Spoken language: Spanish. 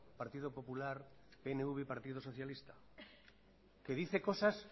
partido popular pnv y partido socialista que dice cosas